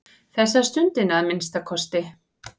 Þessa stundina að minnsta kosti.